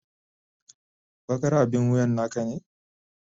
Bakar abin wuyan naka ne?